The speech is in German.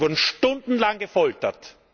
Sie wurden stundenlang gefoltert.